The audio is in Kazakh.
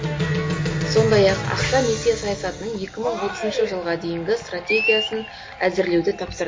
сондай ақ ақша несие саясатының екі мың отызыншы жылға дейінгі стратегиясын әзірлеуді тапсыр